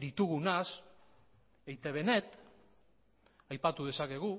ditugunaz eitb net aipatu dezakegu